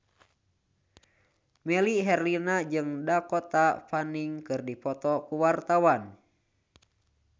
Melly Herlina jeung Dakota Fanning keur dipoto ku wartawan